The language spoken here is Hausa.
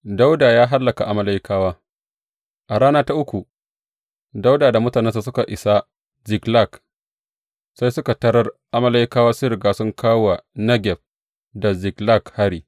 Dawuda ya hallaka Amalekawa A rana ta uku, Dawuda da mutanensa suka isa Ziklag, sai suka tarar Amalekawa sun riga sun kawo wa Negeb da Ziklag hari.